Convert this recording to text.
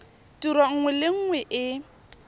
tiro nngwe le nngwe e